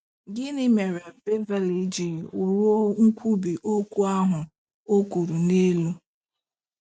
GỊNỊ mere Beverly ji ruo nkwubi okwu ahụ e kwuru n'elu?